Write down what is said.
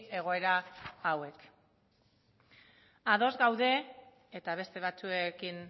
egoera hauek ados gaude eta beste batzuekin